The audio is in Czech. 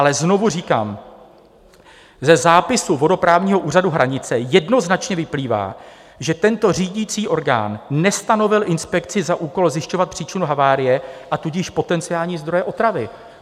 Ale znovu říkám: ze zápisu vodoprávního úřadu Hranice jednoznačně vyplývá, že tento řídicí orgán nestanovil inspekci za úkol zjišťovat příčinu havárie, a tudíž potenciální zdroje otravy.